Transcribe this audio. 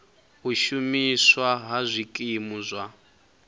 u shumiswa ha zwikimu zwa